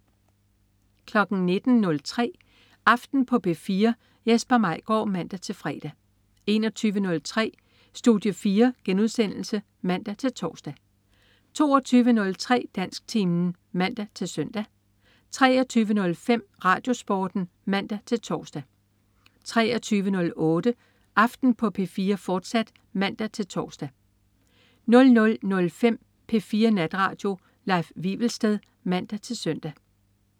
19.03 Aften på P4. Jesper Maigaard (man-fre) 21.03 Studie 4* (man-tors) 22.03 Dansktimen (man-søn) 23.05 RadioSporten (man-tors) 23.08 Aften på P4, fortsat (man-tors) 00.05 P4 Natradio. Leif Wivelsted (man-søn)